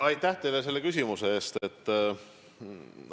Aitäh teile selle küsimuse eest!